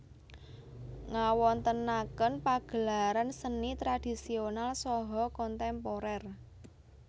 Ngawontenaken pagelaran seni tradisonal saha kontemporer